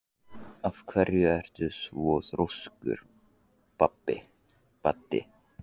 Af hverju ertu svona þrjóskur, Baddi?